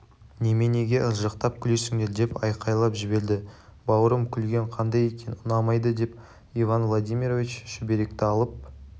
неменеге ыржақтап күлесіңдер деп айқайлап жіберді бауырым күлген қандай екен ұнамайды деп иван владимирович шүберекті алып